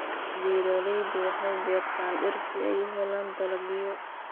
Beeraleydu waxay beertaan dhir si ay u helaan dalagyo.